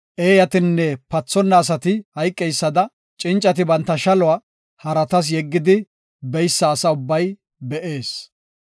Eeyatinne pathonna asati hayqeysada, cincati banta shaluwa haratas yeggidi beysa asa ubbay be7ees.